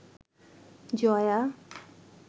Jaya